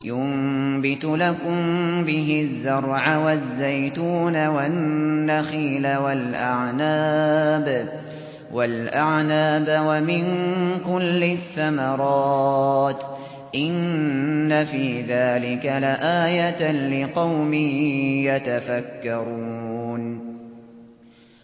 يُنبِتُ لَكُم بِهِ الزَّرْعَ وَالزَّيْتُونَ وَالنَّخِيلَ وَالْأَعْنَابَ وَمِن كُلِّ الثَّمَرَاتِ ۗ إِنَّ فِي ذَٰلِكَ لَآيَةً لِّقَوْمٍ يَتَفَكَّرُونَ